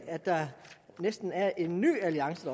at der næsten er opstået en ny alliance